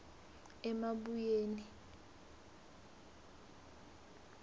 emabuyeni